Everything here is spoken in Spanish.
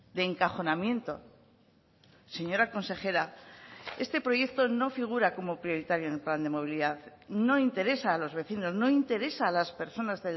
de encajonamiento señora consejera este proyecto no figura como prioritario en el plan de movilidad no interesa a los vecinos no interesa a las personas